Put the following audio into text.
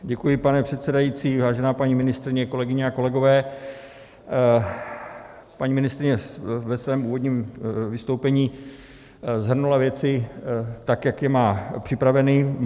Děkuji, pane předsedající, vážená paní ministryně, kolegyně a kolegové, paní ministryně ve svém úvodním vystoupení shrnula věci tak, jak je má připraveny.